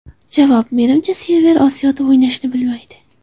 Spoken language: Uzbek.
Javob: Menimcha, Server Osiyoda o‘ynashni istaydi.